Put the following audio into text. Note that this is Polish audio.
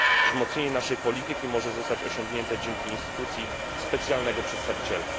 Wzmocnienie naszej polityki może zostać osiągnięte dzięki instytucji specjalnego przedstawiciela.